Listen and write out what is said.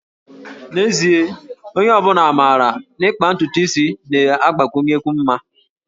N'ezie, onye ọ bụla maara na ịkpa ntutu isi na-agbakwụnyekwu mma